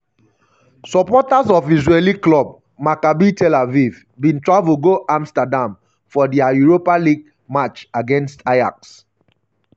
supporters of israeli club um maccabi tel aviv bin travel go amsterdam for dia europa league match against ajax.